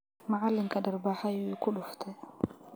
Macalinka dharbaxa ayu ikudufte .